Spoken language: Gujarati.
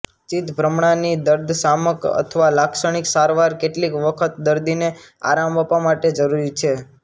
ચિત્તભ્રમણાની દર્દશામક અથવા લાક્ષાણિક સારવાર કેટલીક વખત દર્દીને આરામ આપવા માટે જરૂરી છે